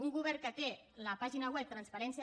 un govern que té la pàgina web transparència